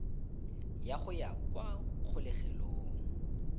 ya go ya kwa kgolegelong